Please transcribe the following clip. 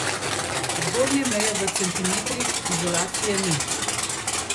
Zgornje meje v centimetrih izolacije ni.